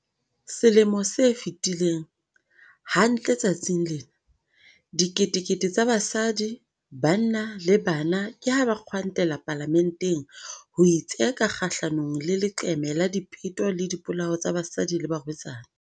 Selemo se fetileng, hantle letsatsing lena, diketekete tsa basadi, banna le bana ke ha ba kgwantela Palamenteng ho itseka kgahlanongle leqeme la dipeto le dipolao tsa basadi le barwetsana.